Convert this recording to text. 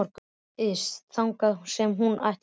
Ryðst þangað sem hún ætlar sér.